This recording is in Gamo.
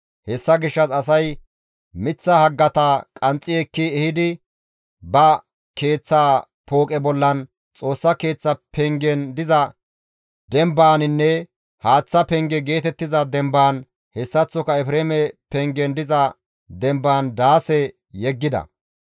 Hessa gishshas asay miththa haggata qanxxi ekki ehidi ba keeththa pooqe bollan, Xoossa Keeththa pengen diza dembaaninne haaththa penge geetettiza dembaan, hessaththoka Efreeme pengen diza dembaan daase yeggida.